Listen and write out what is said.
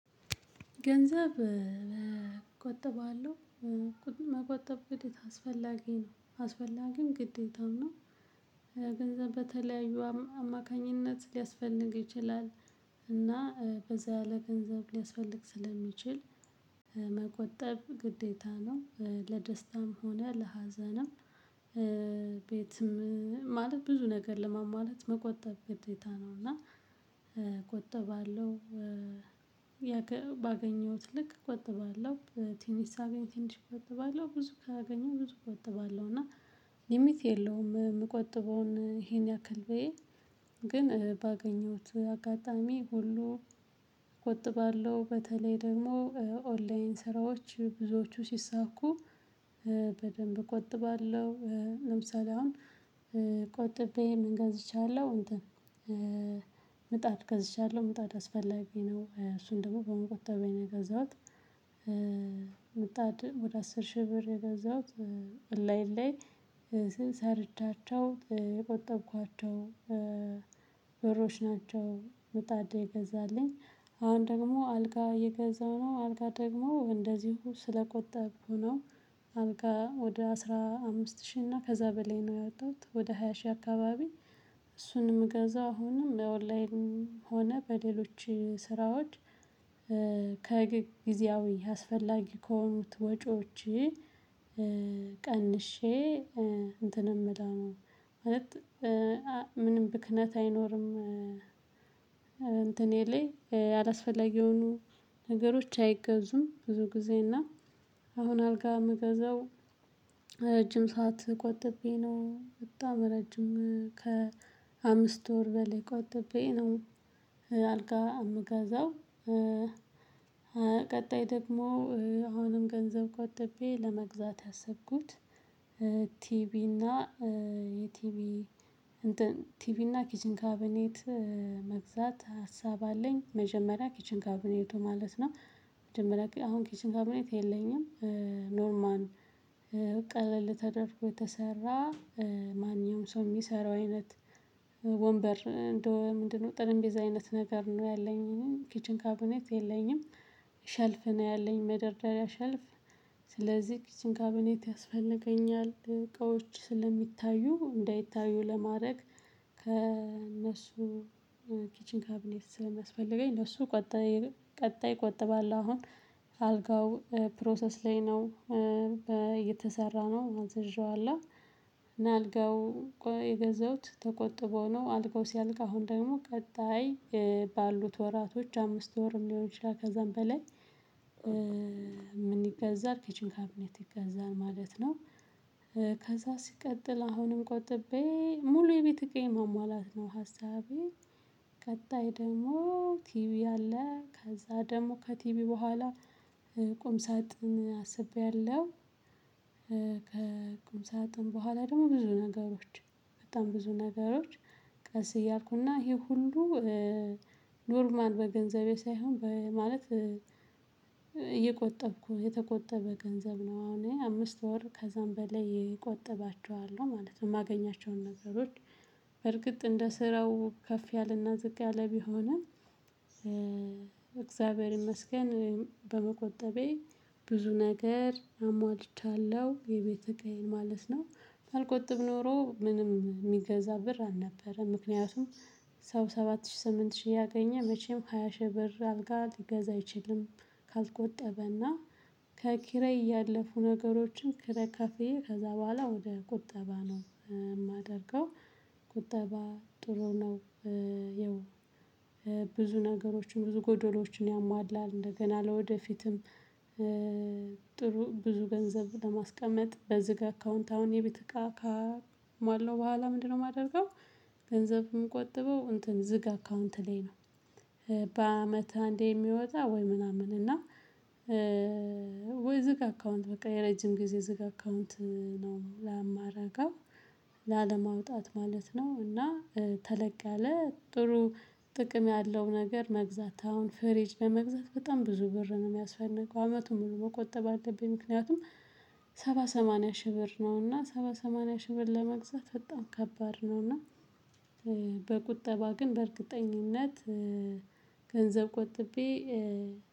ገንዘብ እቆጥባለሁ መቆጠብ ግዴታ አስፈላጊ ነው አስፈላጊም ግዴታው ነው። ገንዘብ በተለያዩ አማካኝነት ሊያስፈልግ ይችላል። እና በዛ ለገንዘብ ሊያስፈልግ ስለሚችል መቆጠብ ግዴታ ነው ለደስታም ሆነ ለሀዘንም። ቤትም ማለት ብዙ ነገር ለሟሟላት መቆጠብ ግዴታ ነው። እና እቆጥባለሁ። ባገኘሁት ልክ እቆጥባለሁ ቲንሽ ሳገኝ ቲኒሽ እቆጥባለሁ ብዙ ካገኘሁ ብዙ እቆጥባለሁ። እና ሊሚት የለውም የምቆጥበውን ይሄን ያክል ብዬ ግን ባገኘሁት አጋጣሚ ሁሉ እቆጥባለሁ። በተለይ ደግሞ ኦንላይን ስራዎች ብዙዎቹ ሲሳኩ። በደንብ እቆጥባለሁ ለምሳሌ አሁን ቆጥቤ ምን ገዝቻለሁ እንትን? ምጣድ ገዝቻለሁ ምጣድ አስፈላጊ ነው እሱን ደግሞ በመቆጠቤ ነው የገዛሁት። ምጣድ ወደ አስር ሺህ ብር የገዛሁት እንላይን ላይ ሰርቻቸው የቆጠብኳቸው ብሮች ናቸው። ምጣድ የገዛልኝ አሁን ደግሞ አልጋ እየገዛሁ ነው አልጋ ደግሞ እንደዚሁ ስለቆጠብኩ ነው። አብቃ ወደ አስራ አምስት ሺህ እና ከዛ በላይ ነው ያወጣሁት ወደ ሃያ ሺህ አከባቢ። እሱንም ገዛ አሁንም በኦንላይን ሆነ በሌሎች ስራዎች። ከጊዜያዊ አስፈላጊ ከሆኑት ወጪዎቼ ቀንሼ እንትን ምለው ማለት ምንም ብክነት አይኖርም። እንትኔ ላይ ያላስፈለጊ የሆኑ ነገሮች አይገዙም ብዙ ጊዜ እና አሁን አልጋ የምገዛው። ረጅም ሰዓት ቆጥቤ ነው በጣም ረጅም ከአምስት ወር በላይ ቆጥቤ ነው። አልጋ የምገዛው። ቀጣይ ደግሞ አሁንም ገንዘብ ቆጥቤ ለመግዛት ያሰብኩት ቲቢ እና የቲቪ ቲቪ እና ኪችን ካባኔት መግዛት ሀሳብ አለኝ። መጀመሪያ ኪችን ካብኔቱ ማለት ነው። መጀመሪያ አሁን ኪችን ካብኔት የለኝም። ኖርማን ቀለል ተደርጎ የተሰራ ማንኛውም ሰው የሚሰራው አይነት ወንበር እንደው ምንድነው ጠረቤዛ አይነት ነገር ነው ያለኝ ኪችን ካብኔት የለኝም። ሸልፍ ነው ያለኝ መደርደሪያ ሸልፍ። ስለዚህ ኪችን ካቢኔት ያስፈልገኛል እቃዎች ስለሚታዩ እንዳይታዩ ለማድረግ ከእነሱ ኪችን ካቢኔት ስለሚያስፈልገኝ ለሱ ቀጣይ ቀጣይ ቆጥባለሁ አሁን። አልጋው ፕሮሰስ ላይ ነው እየተሰራነው አዝዤዋለሁ። አልጋው የገዛሁት ተቆጥቦ ነው አልቆ ሲያልቅ አሁን ደግሞ ቀጣይ ባሉት ወራቶች አምስት ወርም ሊሆን ይችላል ከዛም በላይ። ምን ይገዛል ኪችን ካቢኔት ይገዛል ማለት ነው። ከዛ ሲቀጥል አሁንም ቆጥቤ ሙሉ የቤት ዕቃዬን ማሟላት ነው ሀሳቤ። ቀጣይ ደግሞ ቲቪ አለ ከዛ ደግሞ ከቲቪ በኋላ ቁም ሳጥን አስቤያለሁ። ከቁም ሳጥን በኋላ ደግሞ ብዙ ነገሮች በጣም ብዙ ነገሮች ቀስ እያልኩና ይሄ ሁሉ ኖርማል በገንዘቤ ሳይሆን በማለት እየቆጠብኩ የተቆጠበ ገንዘብ ነው አሁን አምስት ወር ከዛም በላይ እቆጥባቸዋለሁ ማለት ነው የማገኛቸውን ነገሮች። በርግጥ እንደ ስራው ከፍ ያለና ዝቅ ያለ ቢሆንም። እግዚአብሔር ይመስገን። በመቆጠቤ ብዙ ነገር አሟልቻለሁ የቤት ዕቃዬን ማለት ነው። ባልቆጥብ ኖሮ ምንም የሚገዛ ብር አልነበረም ምክንያቱም ሰው ሰባት ሺህ ስምንት ሺህ እያገኘ መቼም ሃያ ሺህ ብር አልጋ ሊገዛ አይችልም። ካልቆጠበና ከኪራይ ያለፉ ነገሮችን ኪራይ ከፍዬ ከዛ በኋላ ወደ ቁጠባ ነው የማደርገው። ቁጠባ ጥሩ ነው። ያው ብዙ ነገሮችን ብዙ ጎዶሎችን ያሟላል እንደገና ለወደፊትም። ጥሩ ብዙ ገንዘብ ለማስቀመጥ በዝግ አካውንት አሁን የቤት እቃ ካሟላው በኋላ ምንድነው የማደርገው? ገንዘብ ምቆጥበው እንትን ዝግ አካውንት ላይ ነው። በአመት አንዴ የሚወጣ ወይ ምናምን እና። ወይ ዝግ አካውንት በቃ የረጅም ጊዜ ዝግ አካውንት ነው የማረጋው። ላለማውጣት ማለት ነው። እና ተለቅ ያለ ጥሩ ጥቅም ያለው ነገር መግዛት አሁን ፍሬጅ ለመግዛት በጣም ብዙ ብር ነው የሚያስፈልገው አመቱን ሙሉ መቆጠብ አለብኝ ምክንያቱም ሰባ ሰማንያ ሺህ ብር ነውና ሰባ ሰማንያ ሺህ ብር ለመግዛት በጣም ከባድ ነውና። በቁጠባ ግን በእርግጠኝነት ገንዘብ ቆጥቤ።